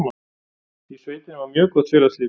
Í sveitinni var mjög gott félagslíf.